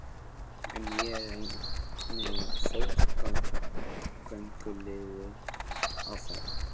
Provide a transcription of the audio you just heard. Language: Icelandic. En ég er eini fótgönguliðinn á ferð.